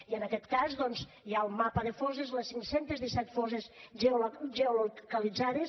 i en aquest cas doncs hi ha el mapa de fosses les cinc cents i disset fosses geolocalitzades